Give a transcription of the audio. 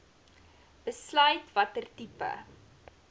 besluit watter tipe